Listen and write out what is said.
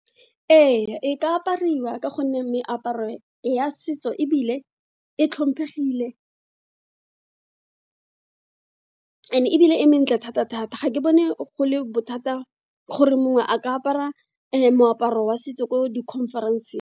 Ee, e ka apariwa ka gonne meaparo ya setso ebile e tlhomphegile and ebile e mentle thata-thata ga ke bone go le bothata gore mongwe a ka apara moaparo wa setso ko di-conference-ng.